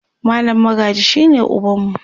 mallam Magaji shine ubanmu